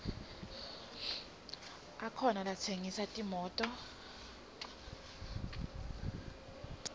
akhona latsengisa timoto